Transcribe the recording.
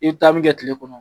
I ye taa min kɛ kile kɔnɔ